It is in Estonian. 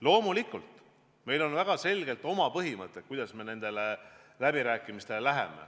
Loomulikult on meil väga selged põhimõtted, kuidas me nendele läbirääkimistele läheme.